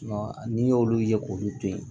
N'i y'olu ye k'olu to ye